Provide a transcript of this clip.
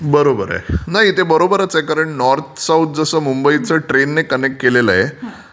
बरोबर आहे. नाही ते बरोबरच आहे कारण नॉर्थ साऊथ जसं मुंबईचं ट्रेन ने कनेक्ट केलेलं आहे